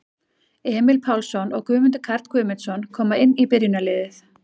Emil Pálsson og Guðmundur Karl Guðmundsson koma inn í byrjunarliðið.